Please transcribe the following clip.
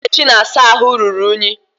Ebe Nkechi na-asa ahụ ruru iyi